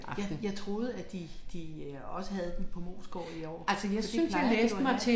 Jeg jeg troede at de de også havde den på Moesgaard i år for det plejer de jo at have